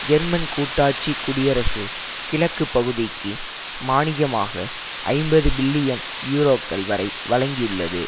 German கூட்டாட்சி குடியரசு கிழக்கு பகுதிக்கு மானியமாக ஐம்பது பில்லியன் யூரோக்கள் வரை வழங்கியுள்ளது